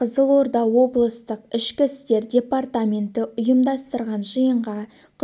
қызылорда облыстық ішкі істер департаменті ұйымдастырған жиынға